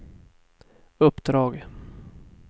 uppdrag